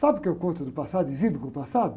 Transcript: Sabe o que eu conto do passado e vivo com o passado?